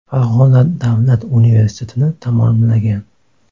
Farg‘ona davlat universitetini tamomlagan.